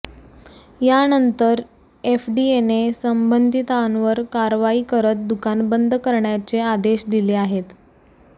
यानंतर एफडीएने संबंधितांवर कारवाई करत दुकान बंद करण्याचे आदेश दिले आहेत